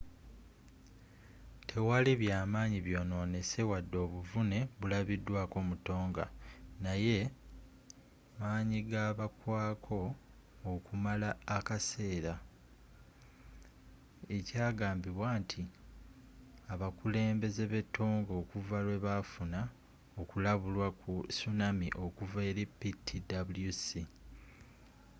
tewali byamaanyi byononese wadde obuvune bulabidwaako mu tonga naye manyi gabagwaako okumala akaseera ekyagambibwa nti abakulembeze be tonga okuva lwebafuna okulabulwa ku tsunami okuva eri ptwc